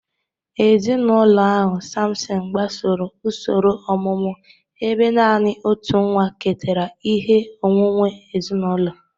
Ezinụlọ ahụ, Sampson, gbasoro usoro ọmụmụ ebe naanị otu nwa ketara ihe onwunwe ezinụlọ.